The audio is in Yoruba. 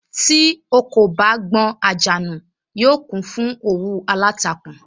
Tí ò kò bá gbọn àjà nù, yóò kún fún òwú aláǹtakùn